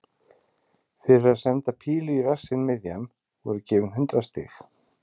Fyrir að senda pílu í rassinn miðjan voru gefin hundrað stig.